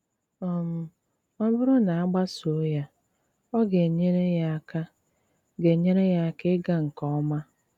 um Ọ̀ bùrù na a gbàsòò ya, ọ ga-enyère ya àka ga-enyère ya àka ịgà nke òma.